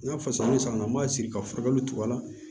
N'a fɔ sisan ni san m'a siri ka furakɛli tugu a la